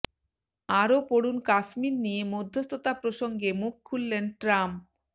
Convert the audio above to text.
আরও পড়ুন কাশ্মীর নিয়ে মধ্যস্থতা প্রসঙ্গে মুখ খুললেন ট্রাম্প